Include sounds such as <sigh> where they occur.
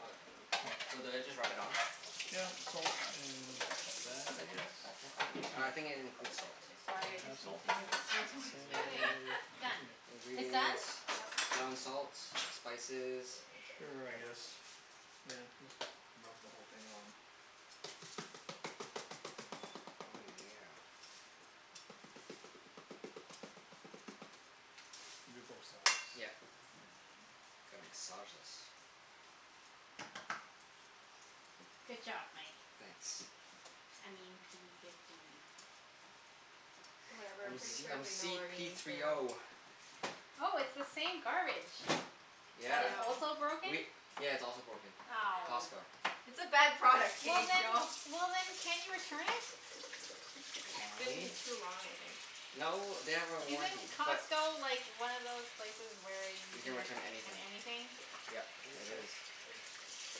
Okay. Oh, okay. Mm. So do I just rub it on? Yeah, coat in that I guess? I think <inaudible> it includes salt. Does Sorry, it I just have need salt to in do it? this, that's why. <laughs> Anyway, Seasoning. Say done. It's in it. It's done? Ingredients. Yep. Ground salt. Spices. Mm, k. Sure, I Peppers. guess. Yeah, just rub the whole thing on. Oh yeah. And do both sides. Yep. I don't know. Gotta massage this. Good job, Mike. Thanks. I mean p fifty. <laughs> Whatever. I'm P Pretty s- Diddy. sure I'm they know c our p names three now. o. Oh, it's the same garbage. I That Yeah. is know. also broken. We, yeah, it's also broken. Ow. Costco. It's a bad product, Well k? We then, all well then can't you return it? Can Been we? too long, I think. No, they have a Isn't warranty but Costco like, one of those places where you You can can ret- return in anything. anything? Yep, Do you use it soap? is. I use soap.